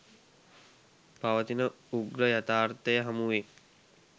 පවතින උග්‍ර යථාර්ථය හමුවේ